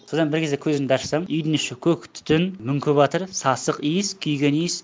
содан бір кезде көзімді ашсам үйдің іші көк түтін мүңківатыр сасық иіс күйген иіс